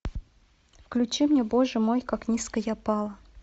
включи мне боже мой как низко я пала